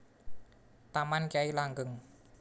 Taman Kyai Langgeng